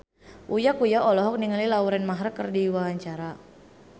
Uya Kuya olohok ningali Lauren Maher keur diwawancara